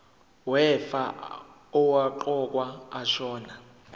wefa owaqokwa ashona